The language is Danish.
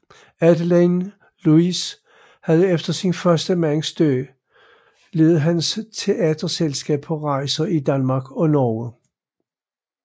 Adeline Louise havde efter sin første mands død ledet hans teaterselskab på rejser i Danmark og Norge